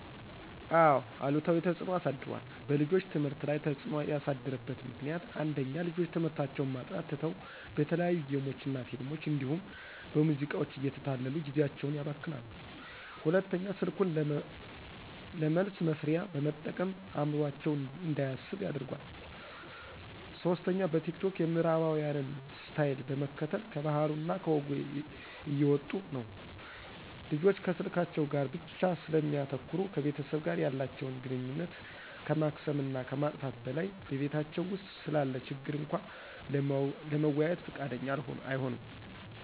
አዎ አሉታዊ ተፅዕኖ አሳድሯል። በልጆች ትምህርት ላይ ተፅዕኖ ያሳደረበት ምክንያት፦ ፩) ልጆች ትምህርታቸውን ማጥናት ትተው በተለያዩ ጌሞች እና ፊልሞች እንዲሁም በሙዚቃዎች እየተታለሉ ጊዜአቸውን ያባክናሉ። ፪) ስልኩን ለመልስ መስሪያ በመጠቀም አዕምሮአቸው እንዳያስብ አድርጓል። ፫) በቲክቶክ የምዕራባውያንን ስታይል በመከተል ከባህሉ እና ከወጉ እየወጡ ነው። ልጆች ከስልካቸው ጋር ብቻ ስለሚያተኩሩ ከቤተሰብ ጋር ያላተቸውን ግንኙነት ከማክሰም እና ከማጥፋት በላይ በቤታቸው ውስጥ ስላለ ችግር እንኳ ለመወያየት ፍቃደኛ አይሆኑም።